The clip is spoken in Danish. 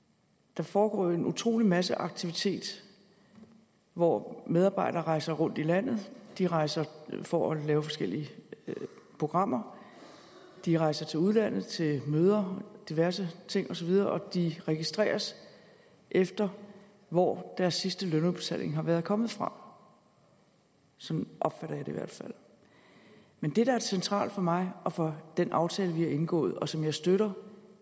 der foregår jo en utrolig masse aktivitet hvor medarbejdere rejser rundt i landet de rejser for at lave forskellige programmer de rejser til udlandet til møder diverse ting osv og de registreres efter hvor deres sidste lønudbetaling har været kommet fra sådan opfatter jeg det i hvert fald men det der er centralt for mig og for den aftale vi har indgået og som jeg støtter